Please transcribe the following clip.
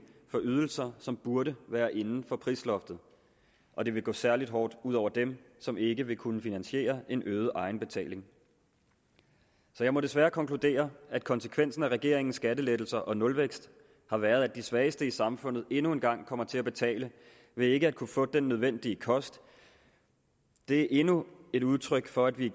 for ydelser som burde være inden for prisloftet og det vil gå særlig hårdt ud over dem som ikke vil kunne finansiere en øget egenbetaling så jeg må desværre konkludere at konsekvensen af regeringens skattelettelser og nulvækst har været at de svageste i samfundet endnu en gang kommer til at betale ved ikke at kunne få den nødvendige kost det er endnu et udtryk for at vi